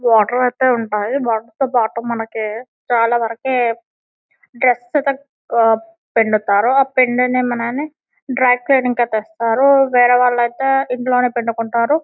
Water అయితే ఉంటాయి water తో పాటు మనకి చాల వారికి డ్రెస్ అయితే ఉహ్ పిండుతారు ఆ పిండినవి అని వేరే వాలితే ఇంట్లోనే పిండుకుంటారు.